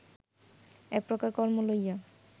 এক প্রকার কর্ম লইয়া